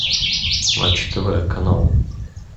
матч тв канал